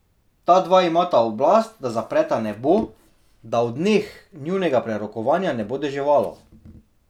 Ta dva imata oblast, da zapreta nebo, da v dneh njunega prerokovanja ne bo deževalo.